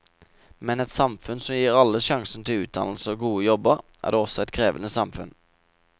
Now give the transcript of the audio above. Men et samfunn som gir alle sjansen til utdannelse og gode jobber, er også et krevende samfunn.